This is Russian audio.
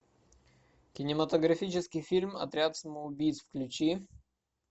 кинематографический фильм отряд самоубийц включи